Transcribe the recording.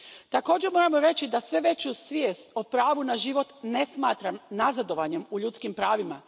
Također moramo reći da sve veću svijest o pravu na život ne smatram nazadovanjem u ljudskim pravima.